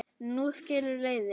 Nú skilur leiðir.